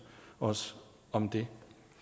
os om det